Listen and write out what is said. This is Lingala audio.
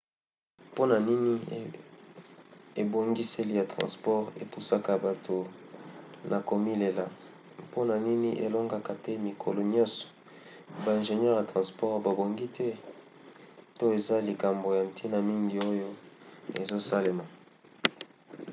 mpona nini ebongiseli ya transport epusaka bato na komilela mpona nini elongaka te mikolo nyonso? ba ingenieur ya transport babongi te? to eza na likambo ya ntina mingi oyo ezosalema?